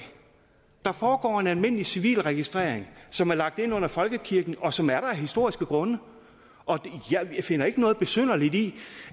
der foregår en almindelig civil registrering som er lagt ind under folkekirken og som er der af historiske grunde jeg finder ikke noget besynderligt i